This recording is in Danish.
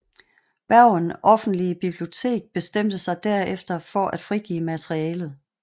Bergen Offentlige Bibliotek bestemte sig derefter for at frigive materialet